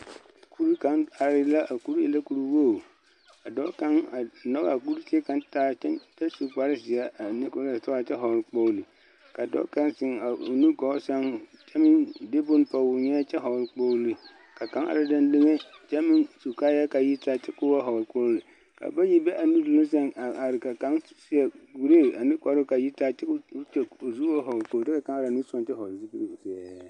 Kuri kaŋa are la a kuri e la kuri wogi a dɔɔ kaŋa are a nyɔge a kuri zie kaŋa taa kyɛ su kpare zeɛ a kyɛ vɔgle kpogri ka dɔɔ kaŋ zeŋ a nugɔɔ sɛŋ kyɛ meŋ de boŋ pɔge o nyeɛ kyɛ meŋ vɔgle kpogri kaŋa are dendeŋe kyɛ meŋ su kaaya ka a yitaa vɔgle kpogri bayi be a nuduluŋ sɛŋ a are ka kaŋ seɛ kuree ane kparoo ka a yitaa kyɛ ka zu o kyɛ ba vɔgle zupili zɛɛ.